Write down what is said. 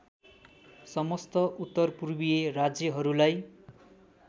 समस्त उत्तरपूर्वीय राज्यहरूलाई